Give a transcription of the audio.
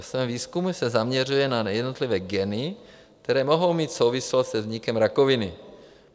Ve svém výzkumu se zaměřuje na jednotlivé geny, které mohou mít souvislost se vznikem rakoviny.